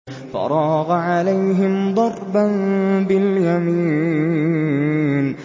فَرَاغَ عَلَيْهِمْ ضَرْبًا بِالْيَمِينِ